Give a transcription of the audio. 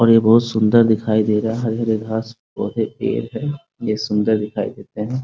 और ये बहुत सुन्दर दिखाई दे रहा है हरे-हरे घास पौधे-पेड़ हैं ये सुन्दर दिखाई देते है ।